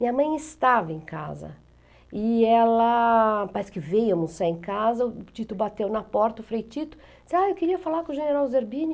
Minha mãe estava em casa e ela, parece que veio almoçar em casa, o Tito bateu na porta, o Frei Tito, disse, ah, eu queria falar com o General Zerbini.